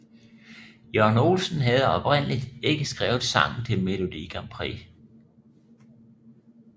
Jørgen Olsen havde oprindeligt ikke skrevet sangen til Melodi Grand Prixet